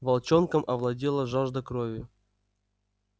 волчонком овладела жажда крови